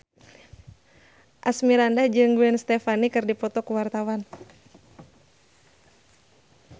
Asmirandah jeung Gwen Stefani keur dipoto ku wartawan